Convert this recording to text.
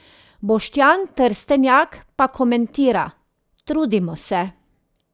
Boštjan Trstenjak pa komentira: 'Trudimo se!